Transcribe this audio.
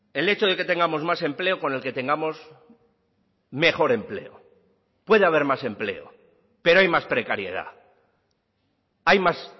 el hecho de que tengamos más empleo con el que tengamos mejor empleo puede haber más empleo pero hay más precariedad hay más